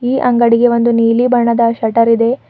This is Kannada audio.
ಈ ಅಂಗಡಿಗೆ ಒಂದು ನೀಲಿ ಬಣ್ಣದ ಶಟರ್ ಇದೆ.